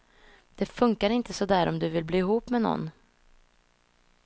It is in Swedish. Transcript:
Det funkar inte så där om du vill bli ihop med någon.